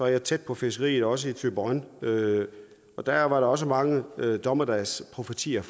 jeg er tæt på fiskeriet også i thyborøn og og der var der også mange dommedagsprofetier